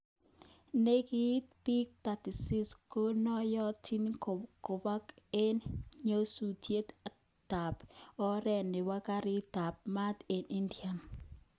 Nekit bik 36 konoyotin kobek eng nyosutyet tab oret nebo garit tab mat eng India .